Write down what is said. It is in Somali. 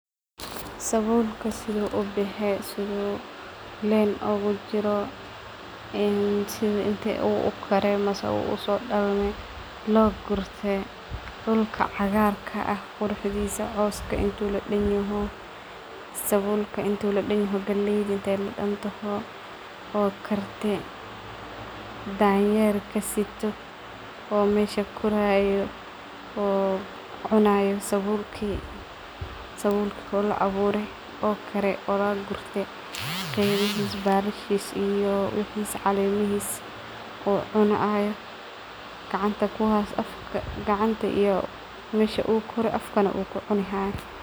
Sabulka sidho ubaxe sidhu line ugajiro een sidho inta ukare mise uso dalanin loo gurte dulka cagarka aah quruxdisa cawska intu ladanyoho sabulka intu ladanyoho galeyda inta ladantoho oo karte danyerka sito oo mesha koorayo oo cunayo sabulki. Sabulki oo laa awuure oo kare oo lagurte geedhihis balashees iyo wixis caleemihis oo cunayo gacanta kuhasto oo afka na kucinhayo.